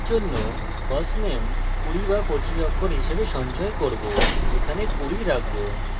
কিন্তু এখনের জন্য firstname 20 বা 25 অক্ষর হিসাবে সঞ্চয় করব এখানে 20 রাখবো